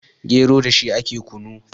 gero da shi ake kunu